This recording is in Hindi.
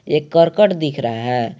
एक करकट दिख रहा है।